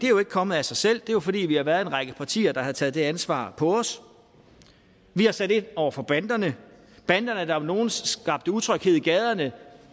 jo ikke kommet af sig selv det er fordi vi har været en række partier der har taget det ansvar på os vi har sat ind over for banderne banderne der om nogen skabte utryghed i gaderne